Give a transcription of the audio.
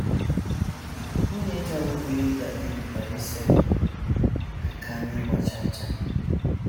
Nwunye John, bụ́ Linda, kpebikwara isepụ aka n’ịgba chaa chaa.